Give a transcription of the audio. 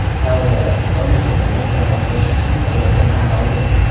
Saudiya Arabistoni jurnalist Jamol Qoshiqchining o‘limini tan oldi.